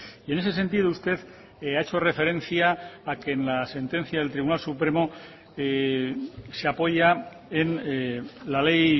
y en ese sentido usted ha hecho referencia a que en la sentencia del tribunal supremo se apoya en la ley